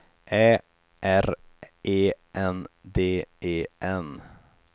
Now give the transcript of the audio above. Ä R E N D E N